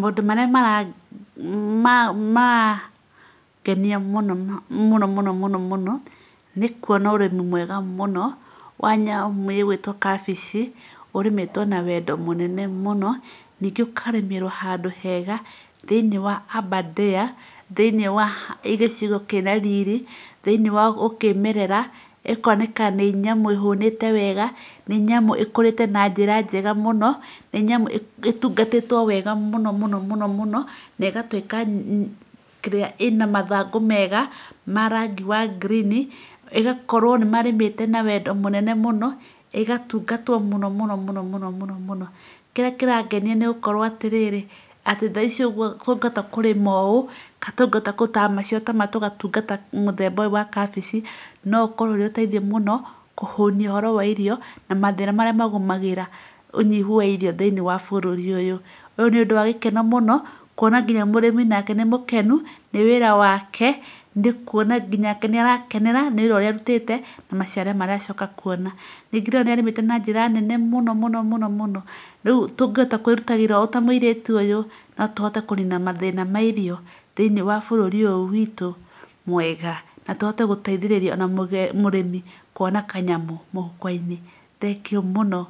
Maũndũ marĩa marangenia muno mũno mũno mũno mũno nĩ kũona ũrĩmi mwega mũno wa nyamũ ĩgwĩtwo kabĩci, ũrĩmĩtwo na wendo mũnene mũno. Ningĩ ũkarĩmĩrwo handũ hega thĩiniĩ wa Aberdare, thĩiniĩ wa gĩcigo kĩĩna riri, thĩiniĩ wa ũkĩĩmerera. ĩkooneka nĩ nyamũ ĩhũnĩte wega, nĩ nyamũ ĩkũrĩte na njĩra njega muno, nĩ nyamũ ĩtungatĩtwo wega mũno mũno mũno mũno, na ĩgatuĩka kĩrĩa, ĩna mathangũ mega ma rangi wa green. ĩgakorwo nĩ marĩmĩte na wendo mũnene mũno, ĩgatungatwo mũno mũno mũno mũno mũno mũno. Kĩrĩa kĩrangenia nĩ gũkorwo atĩ rĩrĩ, atĩ tha ici ũguo kũngĩhota kũrĩma ũũ kana tũngĩhota kũ ta ma tũgatungata mũthemba ũyũ wa kabici, no ũkorwo ũrĩ ũteithio mũno kũhũnia ũhoro wa irio na mathĩna marĩa magũmagĩra ũnyihu wa irio thĩiniĩ wa bũrũri ũyũ. Ũyũ nĩ ũndũ wa gĩkeno mũno, kũona nginya mũrĩmi nake nĩ mũkenu nĩ wĩra wake, nĩ kũona nginyake nĩ arakenera nĩ wĩra ũrĩa arutĩte, maciaro marĩa acoka kuona. Ningĩ nĩ ndĩrona nĩ arĩmĩte na njĩra nene mũno mũno mũno mũno. Rĩu tũngĩhota kwĩrutagĩra ũũ ta mũirĩtu ũyũ, no tũhote kũnina mathĩna ma irio thĩinĩ wa bũrũri ũyũ witũ mwega, na tũhote gũteithĩrĩria o na mũrĩmi kũona kanyamũ mũhuko-inĩ. Thengiũ mũno,